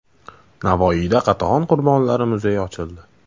Navoiyda Qatag‘on qurbonlari muzeyi ochildi.